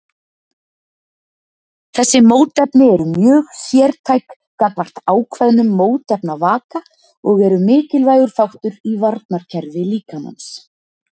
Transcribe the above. Þessi mótefni eru mjög sértæk gagnvart ákveðnum mótefnavaka og eru mikilvægur þáttur í varnarkerfi líkamans.